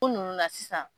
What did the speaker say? Ko nunnu na sisan